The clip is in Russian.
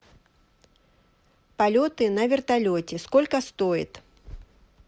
полеты на вертолете сколько стоит